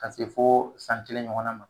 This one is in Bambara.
Ka se fo san kelen ɲɔgɔnna ma